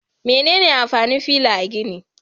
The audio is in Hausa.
Me amfanin fila a gini?